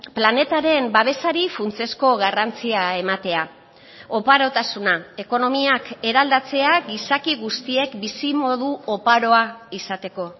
planetaren babesari funtsezko garrantzia ematea oparotasuna ekonomiak eraldatzea gizaki guztiek bizimodu oparoa izateko